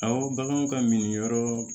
Aw baganw ka minyɔrɔ